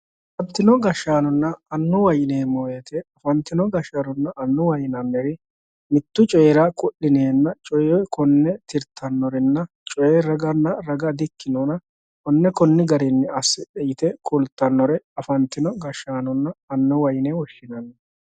Afantinno gashshaanonna annuwa yineemmo woyte ,afantino gashshaanonna annuwa yinnanniri mitu coyira ku'lineenna coye konne tirittanorenna coye raga di'ikkinonna konne konni garinni assidhe yite ku'littanore afantino gashshaanonna annuwa yinne woshshinanni.